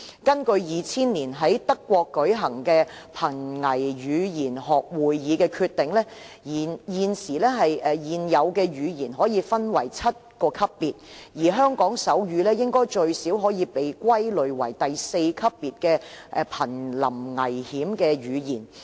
根據2000年在德國舉行的瀕危語言學會議的決定，現有的語言可以分為7個級別，而香港手語應該最少可以被歸類為第四級別的瀕臨危險的語言。